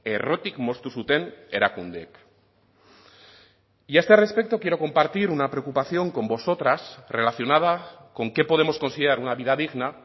errotik moztu zuten erakundeek y a este respecto quiero compartir una preocupación con vosotras relacionada con qué podemos considerar una vida digna